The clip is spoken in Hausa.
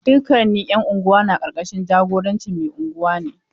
Dukkan 'yan unguwa na ƙarƙashin jagorancin mai Unguwa ne.